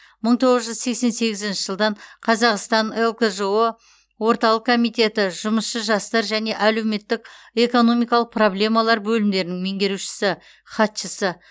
мың тоғыз жүз сексен сегізінші жылдан қазақстан лкжо орталық комитеті жұмысшы жастар және әлеуметтік экономикалық проблемалар бөлімдерінің меңгерушісі хатшысы